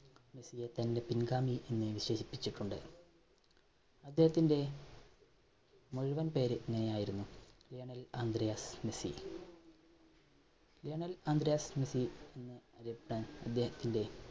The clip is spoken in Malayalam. മെസ്സിയെ തന്റെ പിൻഗാമി എന്ന് വിശേഷിപ്പിച്ചിട്ടുണ്ട്. അദ്ദേഹത്തിന്റെ മുഴുവൻ പേര് ഇങ്ങനെയായിരുന്നു, Lionel Andrés Messi. Lionel Andrés Messi എന്ന് അറിയപ്പെടാൻ അദ്ദേഹത്തിന്റെ